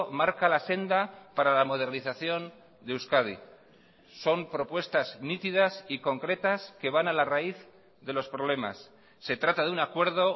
marca la senda para la modernización de euskadi son propuestas nítidas y concretas que van a la raíz de los problemas se trata de un acuerdo